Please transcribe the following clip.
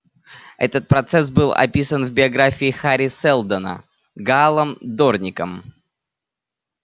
этот процесс был описан в биографии хари сэлдона гаалом дорником